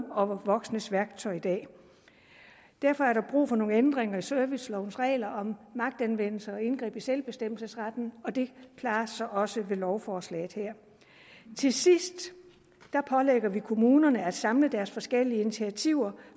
og voksnes værktøj i dag derfor er der brug for nogle ændringer i servicelovens regler om magtanvendelse og indgreb i selvbestemmelsesretten og det klares så også med lovforslaget her til sidst pålægger vi kommunerne at samle deres forskellige initiativer